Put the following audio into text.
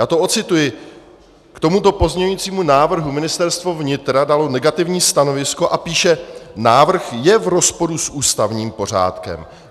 Já to odcituji: K tomuto pozměňujícímu návrhu Ministerstvo vnitra dalo negativní stanovisko - a píše: návrh je v rozporu s ústavním pořádkem.